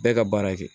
Bɛɛ ka baara kɛ